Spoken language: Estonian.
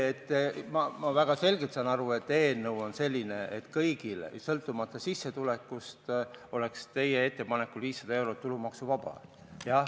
Ma väga selgelt saan aru, et eelnõu on selline, et kõigil, sõltumata sissetulekust, oleks teie ettepanekul 500 eurot tulumaksuvaba.